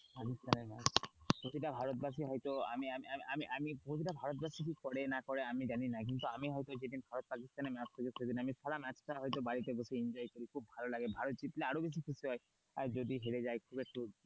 প্রতিটা ভারতবাসী হয়তো আমি আমি আমি প্রতিটা ভারতবাসী কি করে না করে আমি জানি না কিন্তু আমি হয়তো যে দিন ভারত পাকিস্তানের ম্যাচ দেখে সে দিন আমি সারা ম্যাচটা হয়তো বাড়িতে বসে enjoy করেছি খুব ভালো লাগে ভারত জিতলে আরো বেশি খুশি হয় আর যদি হেরে যায় তো একটু।